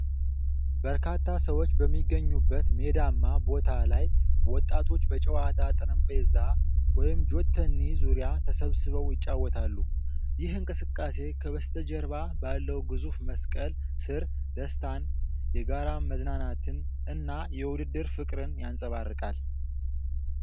በርካታ ሰዎች በሚገኙበት ሜዳማ ቦታ ላይ ወጣቶች በጫወታ ጠረጴዛ (ጆተኒ) ዙሪያ ተሰብስበው ይጫወታሉ። ይህ እንቅስቃሴ ከበስተጀርባ ባለው ግዙፍ መስቀል ስር ደስታን፣ የጋራ መዝናናትን እና የውድድር ፍቅርን ያንጸባርቃል።